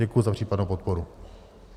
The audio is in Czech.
Děkuji za případnou podporu.